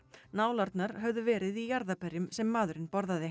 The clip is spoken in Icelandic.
nálarnar höfðu verið í jarðarberjum sem maðurinn borðaði